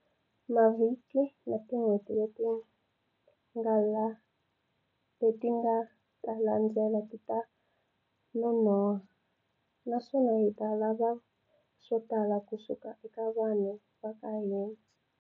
Mavhiki na tin'hweti leti nga ta landzela tita nonoha, naswona ti ta lava swotala ku suka eka vanhu va ka hina.